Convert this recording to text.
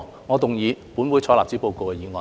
我動議"本會採納此報告"的議案。